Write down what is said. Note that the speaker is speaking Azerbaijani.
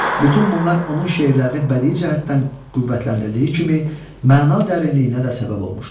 Bütün bunlar onun şeirlərini bədii cəhətdən qüvvətləndirdiyi kimi, məna dərinliyinə də səbəb olmuşdur.